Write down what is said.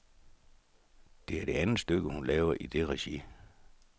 Det er det andet stykke, hun laver i det regi.